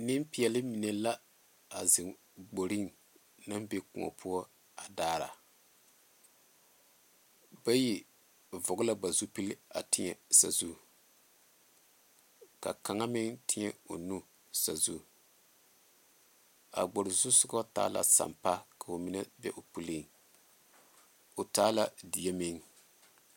Nempeɛle mine la zeŋe kpoore neŋ be kõɔ poɔ dare bayi vɔlee la ba zu peeli ka kaŋa meŋ teɛ o nu saazu a kpoore zu sogo ta la sampaa ka o be o puli o taa la die meŋ.